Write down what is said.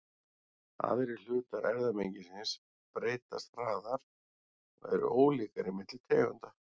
Aðrir hlutar erfðamengisins breytast hraðar og eru ólíkari milli tegunda.